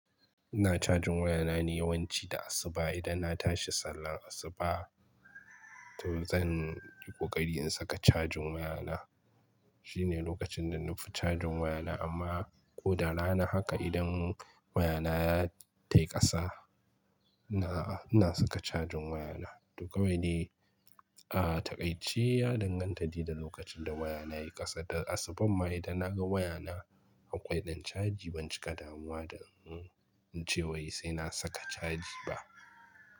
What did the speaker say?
Ina cajin wayana ne yawanci da asuba idan na tashi sallar asuba to zan yi ƙoƙari in saka cajin wayana. Shine lokacin da nafi cajin wayana amma ko da rana haka idan wayana ya tai ƙasa na, na saka cajin wayana. To kawai dai, a takai ci ya danganta da lokacin da wayana yayi ƙasa. Da asubuh ma idan na ga wayana a ƙwai ɗin caji ban cika damuwa da mm cewa sai na saka caji ba.